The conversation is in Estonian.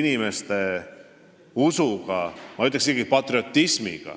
inimeste usuga, ma ütleksin, isegi patriotismiga.